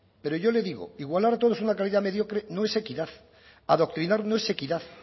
pero yo le digo igualar a todos a una calidad mediocre no es equidad adoctrinar no es equidad